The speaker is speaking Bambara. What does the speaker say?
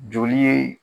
Joli ye